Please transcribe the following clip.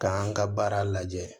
K'an ka baara lajɛ